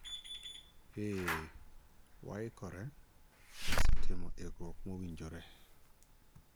eeh, waikore ,wasetimo ikruok mowinjore